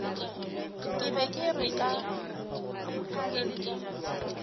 ke be ke re ka